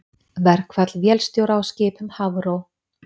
Verkfall vélstjóra á skipum Hafró